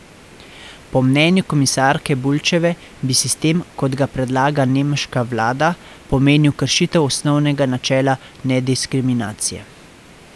Po mnenju komisarke Bulčeve bi sistem, kot ga predlaga nemška vlada, pomenil kršitev osnovnega načela nediskriminacije.